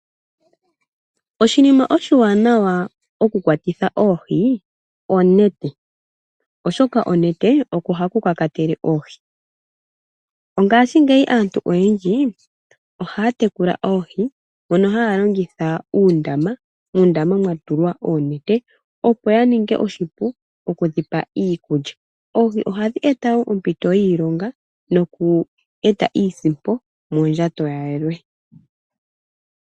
Oshinima oshiwanawa oku kwatitha oohi onete oshoka onete oko haku kakatele oohi. Ngaashingeyi aantu oyendji ohaya tekula oohi, mono haya longitha uundama. Muundama mwa tulwa oonete opo ya ninge oshipu oku dhi pa iikulya. Oohi oha dhi eta woo oompito dhiilonga noku eta iisimpo mondjato ya yalwe.